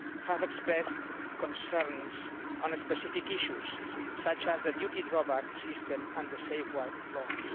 have expressed concerns on specific issues such as the duty drawback system and the safeguard clause.